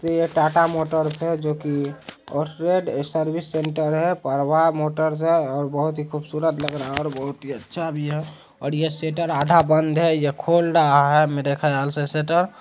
ये टाटा मोटर्स है जो कि ये सर्विस सेंटर है पर वहाँ मोटर से और बहुत ही खूबसूरत लग रहा है और बहुत ही अच्छा भी है और ये शटर आधा बंद है या खोल रहा है मेरे खयाल से शटर --